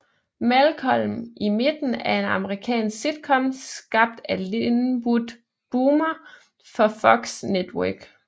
Malcolm i midten er en amerikansk sitcom skabt af Linwood Boomer for Fox Network